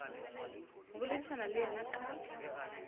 go boledišana le yena ka